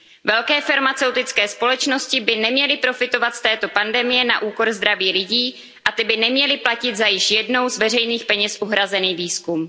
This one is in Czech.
peněz. Velké farmaceutické společnosti by neměly profitovat z této pandemie na úkor zdraví lidí a ti by neměli platit za již jednou z veřejných peněz uhrazený